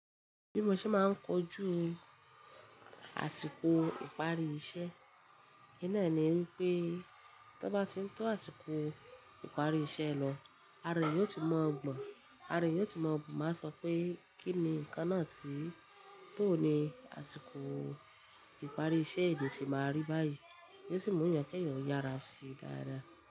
Bí mo ṣe máa ń kojú àsìkò ìparí iṣẹ́, ín náà ni wípé tó bá ti ń tó àsìkò ìparí iṣẹ́ lọ, ara èèyàn ò ti mọ̀ gbọ̀n, ara èèyàn ò ti mọ̀ máa bu pé kí ni nǹkan náà tí bò ní àsìkò ìparí iṣẹ́ ènìyàn ṣe máa rí báyìí. Yo sì mú èèyàn kí èèyàn o yára se dáadáa.